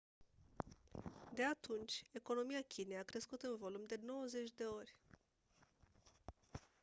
de atunci economia chinei a crescut în volum de 90 de ori